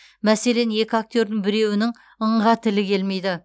мәселен екі актердің біреуінің ң ға тілі келмейді